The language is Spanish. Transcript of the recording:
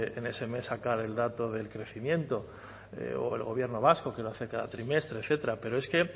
en ese mes sacar el dato del crecimiento o el gobierno vasco que lo hace cada trimestre etcétera pero es que